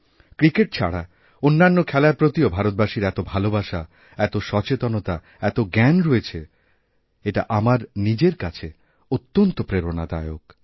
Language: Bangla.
ক্রিকেট ছাড়া অন্যান্য খেলার প্রতিও ভারতবাসীর এতভালোবাসা এত সচেতনতা এত জ্ঞান রয়েছে এটা আমার নিজের কাছে অত্যন্ত প্রেরণাদায়ক